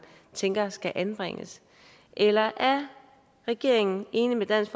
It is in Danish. tænker skal anbringes eller er regeringen enig med dansk